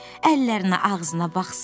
Əllərinə, ağzına baxsana.